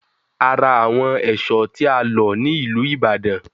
A ra àwọn èṣọ́ tí a lọ̀ ní ìlú Ibadan